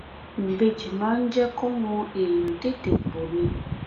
ìbejì máa ń jẹ́ kọmọ èèyàn tètè pọ ni